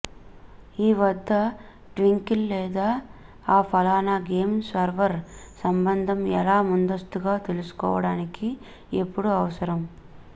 ఈ వద్ద ట్వింకిల్ లేదా ఆ ఫలానా గేమ్ సర్వర్ సంబంధం ఎలా ముందస్తుగా తెలుసుకోవడానికి ఎప్పుడూ అవసరం